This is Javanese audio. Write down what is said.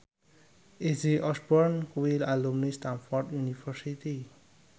Izzy Osborne kuwi alumni Stamford University